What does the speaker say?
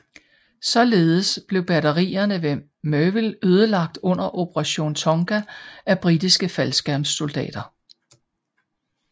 Således blev batterierne ved Merville ødelagt under Operation Tonga af britiske faldskærmssoldater